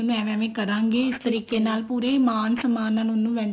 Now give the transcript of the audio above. ਉਹਨੂੰ ਏਵੇਂ ਏਵੇਂ ਕਰਾਂਗੇ ਇਸ ਤਰੀਕੇ ਨਾਲ ਪੂਰੇ ਮਾਨ ਸਨਮਾਨ ਨਾਲ ਉਹਨੂੰ